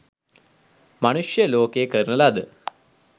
මනුෂ්‍ය ලෝකයේ කරන ලද